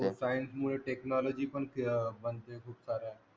कारण कि technology पण